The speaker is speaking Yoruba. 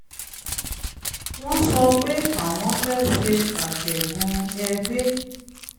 wọ́n sọ pé àwọn fẹ́ ṣe àtẹ̀gùn ẹ̀gbé